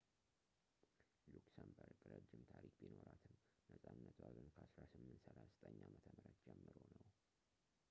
ሉክሰምበርግ ረጅም ታሪክ ቢኖራትም ነፃነቷ ግን ከ 1839 ዓ.ም ጀምሮ ነው